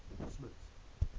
smuts